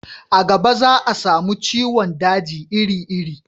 a gaba za a samu ciwon daji iri iri